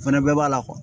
O fɛnɛ bɛɛ b'a la